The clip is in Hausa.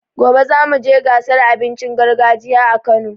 Gobe zamu je gasar abincin gargajiya a Kano.